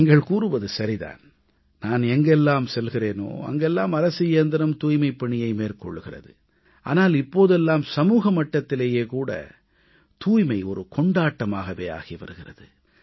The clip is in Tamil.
நீங்கள் கூறுவது சரி தான் நான் எங்கெல்லாம் செல்கிறேனோ அங்கெல்லாம் அரசு இயந்திரம் தூய்மைப்பணியை மேற்கொள்கிறது ஆனால் இப்போதெல்லாம் சமூகமட்டத்திலேயே கூட தூய்மை கொண்டாட்டமாகவே ஆகி வருகிறது